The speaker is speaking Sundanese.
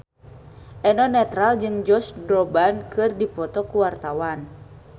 Eno Netral jeung Josh Groban keur dipoto ku wartawan